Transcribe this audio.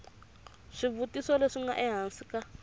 swivutiso leswi nga ehansi ka